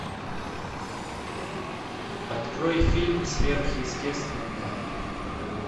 открой фильм сверхъестественное